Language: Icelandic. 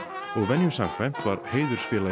og venju samkvæmt var heiðursfélagi